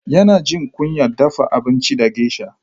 Yana jin kunyar dafa abinci da geisha.